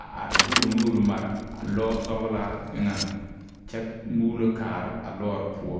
a are de o nuure mareavlɔɔ sɔglaa eŋɛŋ kyɛ muulo kaara a lɔɔre poɔ.